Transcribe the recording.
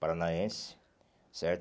Paranaense, certo?